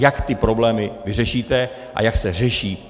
Jak ty problémy vyřešíte a jak se řeší.